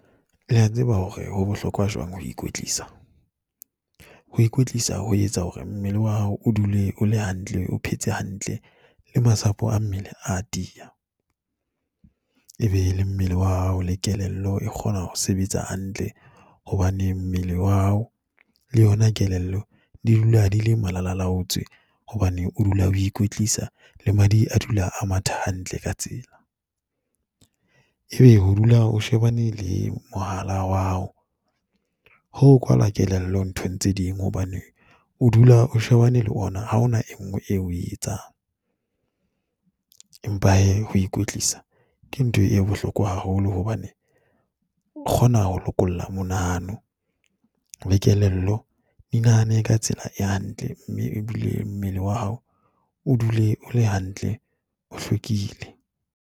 Le a tseba hore ho bohlokwa jwang ho ikwetlisa. Ho ikwetlisa ho etsa hore mmele wa hao o dule o le hantle, o phetse hantle le masapo a mmele a tiya. Ebe le mmele wa hao le kelello e kgona ho sebetsa hantle hobane mmele wa hao le yona kelello di dula di le malalalaotswe hobane o dula ho ikwetlisa le madi a dula a matha hantle ka tsela. Ebe ho dula o shebane le mohala wa hao, ho o kwalwa kelello nthong tse ding hobane o dula o shebane le ona ha o na e nngwe eo o e etsang. Empa hee, ho ikwetlisa ke ntho e bohlokwa haholo hobane o kgona ho lokolla monahano le kelello e nahane ka tsela e hantle mme ebile mmele wa hao o dule o le hantle, o hlwekile.